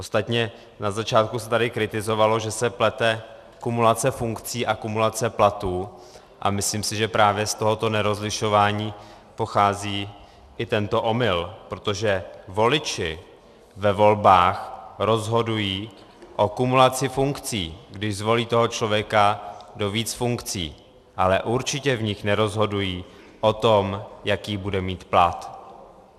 Ostatně na začátku se tady kritizovalo, že se plete kumulace funkcí a kumulace platů, a myslím si, že právě z tohoto nerozlišování pochází i tento omyl, protože voliči ve volbách rozhodují o kumulaci funkcí, když zvolí toho člověka do více funkcí, ale určitě v nich nerozhodují o tom, jaký bude mít plat.